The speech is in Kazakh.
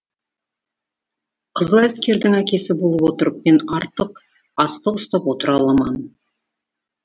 қызыл әскердің әкесі болып отырып мен артық астық ұстап отыра алман